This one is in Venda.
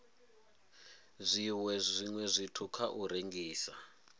zwiwe zwithu kha u rengisa